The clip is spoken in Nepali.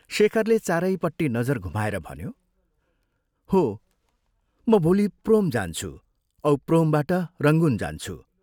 शेखरले चारैपट्टि नजर घुमाएर भन्यो, "हो, म भोलि प्रोम जान्छु औ प्रोमबाट रंगून जान्छु।